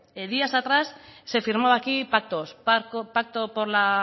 días atrás se firmaba aquí pactos pacto por la